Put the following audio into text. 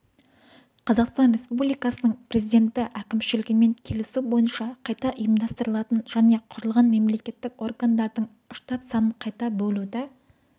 қазақстан республикасының президенті әкімшілігімен келісу бойынша қайта ұйымдастырылатын және құрылған мемлекеттік органдардың штат санын қайта бөлуді